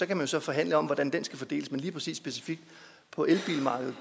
kan så forhandle om hvordan den skal fordeles men lige præcis specifikt